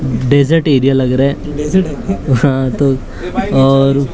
dessert area लग रहा है हाँ तो और--